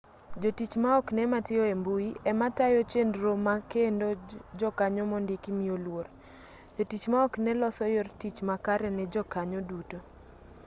jotich maoknee matiyo embui ema tayo chenro makendo jokanyo mondiki miyo luor jotich maoknee loso yor tich makare ne jokanyo duto